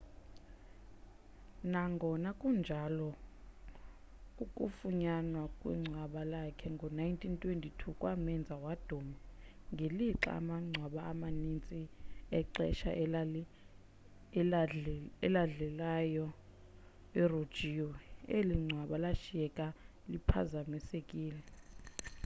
nangona kunjalo ukufunyanwa kwengcwaba lakhe ngo-1922 kwamenza waduma ngelixa amangcwaba amaninzi exesha eladlilayo erojiwe eli ngcwaba lashiyeka liphazamisekile